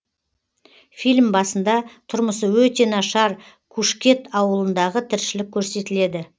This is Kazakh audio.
фильм басында тұрмысы өте нашар кушкет ауылындағы тіршілік көрсетіледі